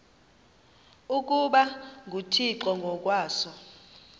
ukuba nguthixo ngokwaso